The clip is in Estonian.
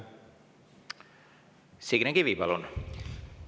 Signe Kivi, palun!